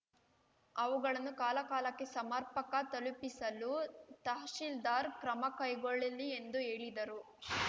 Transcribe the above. ಅವುಗಳನ್ನು ಕಾಲಕಾಲಕ್ಕೆ ಸಮರ್ಪಕ ತಲುಪಿಸಲು ತಹಸೀಲ್ದಾರ್ ಕ್ರಮ ಕೈಗೊಳ್ಳಲಿ ಎಂದು ಹೇಳಿದರು